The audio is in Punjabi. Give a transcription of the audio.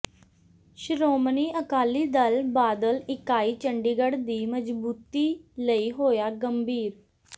ਸ਼੍ਰੋਮਣੀ ਅਕਾਲੀ ਦਲ ਬਾਦਲ ਇਕਾਈ ਚੰਡੀਗੜ੍ਹ ਦੀ ਮਜ਼ਬੂਤੀ ਲਈ ਹੋਇਆ ਗੰਭੀਰ